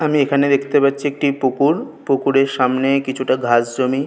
আমি এখানে দেখতে পাচ্ছি একটি পুকুর। পুকুরের সামনে কিছুটা ঘাস জমি।